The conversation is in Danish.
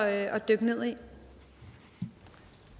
at dykke ned